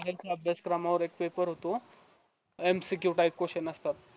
अभ्यासक्रमावर एक paper होतो